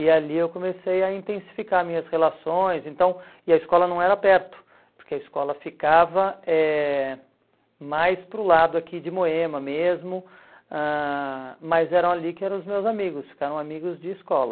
E ali eu comecei a intensificar minhas relações, então e a escola não era perto, porque a escola ficava eh mais para o lado aqui de Moema mesmo, ãh mas eram ali que eram os meus amigos, ficaram amigos de escola.